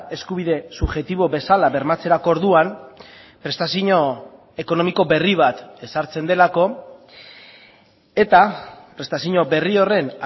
eskubide subjektibo bezala bermatzerako orduan prestazio ekonomiko berri bat ezartzen delako eta prestazio berri horren